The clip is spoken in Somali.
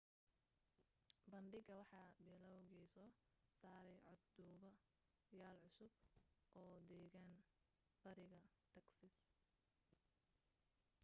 bandhiga waxa bilaawgi soo saaray cod duuba yaal cusub oo deggan bariga texas